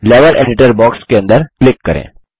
level editor box के अंदर click करें